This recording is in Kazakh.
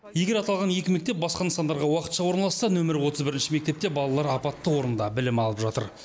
егер аталған екі мектеп басқа нысандарға уақытша орналасса нөмірі отыз бірінші мектепте балалар апатты орында білім алып жатыр